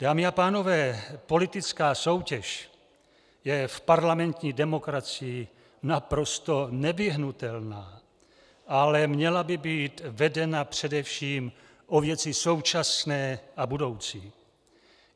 Dámy a pánové, politická soutěž je v parlamentní demokracii naprosto nevyhnutelná, ale měla by být vedena především o věci současné a budoucí.